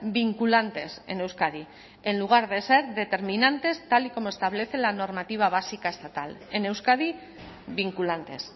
vinculantes en euskadi en lugar de ser determinantes tal y como establece la normativa básica estatal en euskadi vinculantes